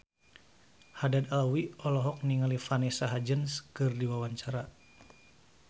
Haddad Alwi olohok ningali Vanessa Hudgens keur diwawancara